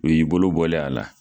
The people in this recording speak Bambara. U y'i bolo bɔlen ye a la